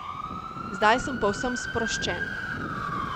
Zdaj sem povsem sproščen.